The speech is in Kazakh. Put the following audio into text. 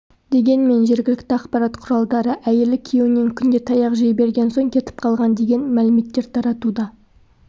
дегенмен жергілікті ақпарат құралдары әйелі күйеуінен күнде таяқ жей берген соң кетіп қалған деген мәліметтер таратуда